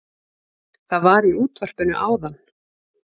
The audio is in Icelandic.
Það var í útvarpinu áðan